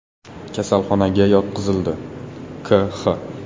kasalxonaga yotqizildi, K.X.